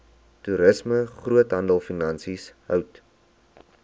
toerisme groothandelfinansies hout